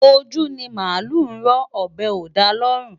Ojú ni màálù ń rọ́, ọ̀bẹ kò dára lọ́rùn.